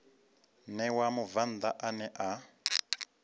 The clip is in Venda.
ṋewa mubvann ḓa ane a